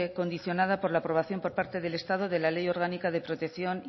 condicionada por la aprobación por parte del estado de la ley orgánica de protección